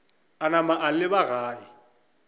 a napa a leba gae